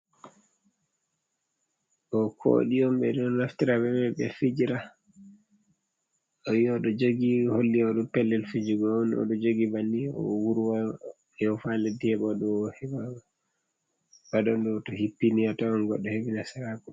Ɗo kooɗi on ɓe ɗon naftira be mai ɓe fijira ayi oɗo jogi holli oɗo pellel fijugo on, oɗo jogi banni o wurwa yofa ha leddi heɓa ɗo aa ba ɗonɗo to hippi ni atawan goɗɗo heɓi nasaraku.